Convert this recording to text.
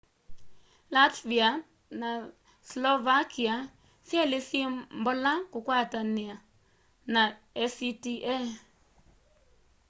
latvia na slovakia syeli syi mbola kukwatana na acta